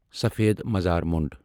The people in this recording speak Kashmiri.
سفید مزار مۄنڈ